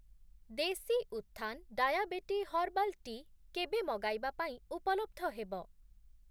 ଦେଶୀ ଉତ୍ଥାନ୍ diabetic herbal tea କେବେ ମଗାଇବା ପାଇଁ ଉପଲବ୍ଧ ହେବ?